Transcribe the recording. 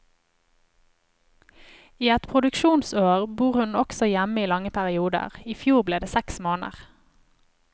I et produksjonsår bor hun også hjemme i lange perioder, i fjor ble det seks måneder.